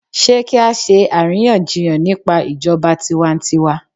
Sé kí á ṣe àríyànjiyàn nípa ijọba tiwantiwa?